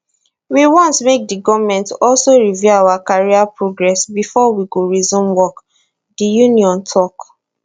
we want make di goment also review our career progress bifor we go resume work di union tok